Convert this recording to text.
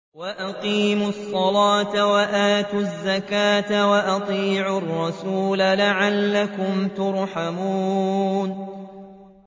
وَأَقِيمُوا الصَّلَاةَ وَآتُوا الزَّكَاةَ وَأَطِيعُوا الرَّسُولَ لَعَلَّكُمْ تُرْحَمُونَ